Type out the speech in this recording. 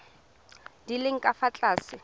di leng ka fa tlase